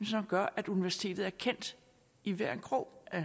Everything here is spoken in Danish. som gør at universitetet er kendt i hver en krog af